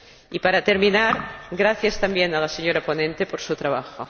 Y, para terminar, gracias también a la ponente por su trabajo.